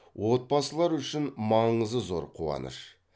отбасылар үшін маңызы зор қуаныш